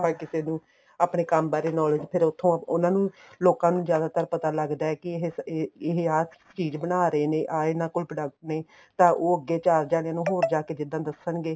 ਆਪਾਂ ਕਿਸੇ ਨੂੰ ਆਪਣੇ ਕੰਮ ਬਾਰੇ knowledge ਫ਼ੇਰ ਉੱਥੋ ਉਹਨਾ ਨੂੰ ਲੋਕਾਂ ਨੂੰ ਜਿਆਦਾਤਰ ਪਤਾ ਲੱਗਦਾ ਏ ਕੇ ਏ ਇਹ ਆ ਚੀਜ਼ ਬਣਾ ਰਹੇ ਨੇ ਆ ਇਹਨਾ ਕੋਲ product ਨੇ ਤਾਂ ਉਹ ਅੱਗੇ ਚਾਰ ਜਾਣਿਆ ਨੂੰ ਹੋਰ ਜਾਕੇ ਜਿੱਦਾ ਦੱਸਣਗੇ